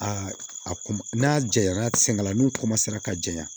Aa a kun n'a jɛyara sɛnɛla n'u ka janya